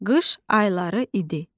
Qış ayları idi.